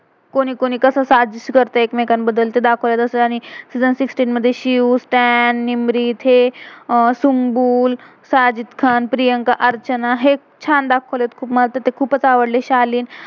कोन्ही कोन्ही कसं साजिश करते एक~मेकांबद्दल ते दाखवलय. आणि सीजन season सिक्सटी sixteen मेध शिव, स्त्यान, निम्रित, हे अह सुन्ग्बुल, साजिद खान, प्रियंका, अर्चना, हे छान दाखवलय खुप, मला तर खुपच आवडले शालीन